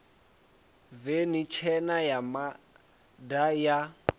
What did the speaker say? veni tshena ya mazda ya